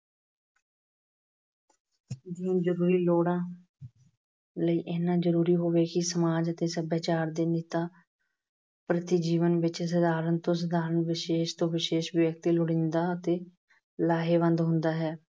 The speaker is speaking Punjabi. ਨੂੰ ਜ਼ਰੂਰੀ ਲੋੜਾਂ ਲਈ ਇੰਨਾ ਜ਼ਰੂਰੀ ਹੋਵੇ ਕਿ ਸਮਾਜ ਅਤੇ ਸਭਿਆਚਾਰ ਦੇ ਨੇਤਾ ਪ੍ਰਤੀ ਜੀਵਨ ਵਿੱਚ ਸਾਧਾਰਨ ਤੋਂ ਸਾਧਾਰਨ, ਵਿਸ਼ੇਸ਼ ਤੋਂ ਵਿਸ਼ੇਸ਼ ਵਿਅਕਤੀ ਲੋੜੀਂਦਾ ਅਤੇ ਲਾਹੇਵੰਦ ਹੁੰਦਾ ਹੈ।